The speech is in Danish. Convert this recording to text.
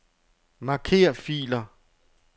Marker filer.